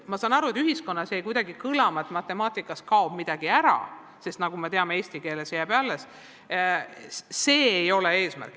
Ma saan aru, et ühiskonnas on jäänud kuidagi kõlama, et matemaatikas kaob midagi ära, samas kui eesti keeles jääb eksam või test alles, aga see ei ole eesmärk.